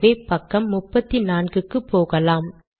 ஆகவே பக்கம் 34 க்கு போகலாம்